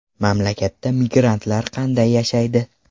Mamlakatda migrantlar qanday yashaydi?